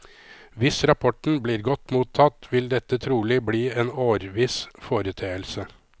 Hvis rapporten blir godt mottatt, vil dette trolig bli en årviss foreteelse.